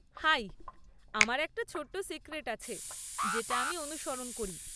High, আমার একটা ছোট্টো সিক্রেট আছে যেটা আমি অনুসরণ করি।